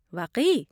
واقعی!؟